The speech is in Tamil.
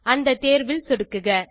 அந்த தேர்வில் சொடுக்குக